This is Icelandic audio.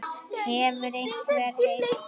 Hefur einhver heyrt þær?